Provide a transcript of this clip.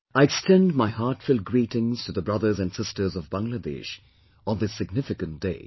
I extend my heartfelt greetings to the brothers and sisters of Bangladesh, on this significant day